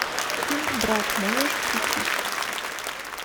фильм брат можешь включить